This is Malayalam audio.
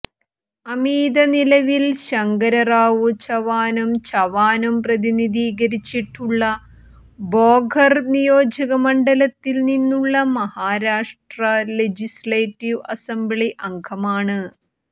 അമീത നിലവിൽ ശങ്കരറാവു ചവാനും ചവാനും പ്രതിനിധീകരിച്ചിട്ടുള്ള ഭോകർ നിയോജകമണ്ഡലത്തിൽ നിന്നുള്ള മഹാരാഷ്ട്ര ലെജിസ്ലേറ്റീവ് അസംബ്ലി അംഗമാണ്